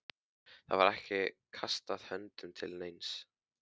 Það var ekki kastað höndum til neins.